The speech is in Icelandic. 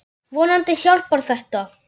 Vonandi hjálpar þetta.